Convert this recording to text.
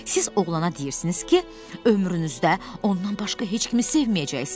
Siz oğlana deyirsiniz ki, ömrünüzdə ondan başqa heç kimi sevməyəcəksiniz.